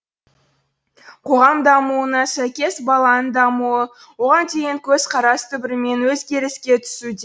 қоғам дамуына сәйкес баланың дамуы оған деген көзқарас түбірімен өзгеріске түсуде